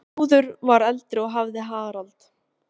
Þrúður var eldri og hafði Harald.